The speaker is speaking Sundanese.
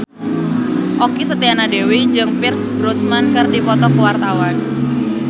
Okky Setiana Dewi jeung Pierce Brosnan keur dipoto ku wartawan